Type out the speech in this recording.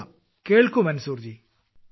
കൊള്ളാം കേൾക്കൂ മൻസൂർ ജി